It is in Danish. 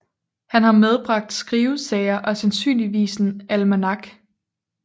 Han har medbragt skrivesager og sandsynligvis en almanak